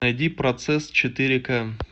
найди процесс четыре ка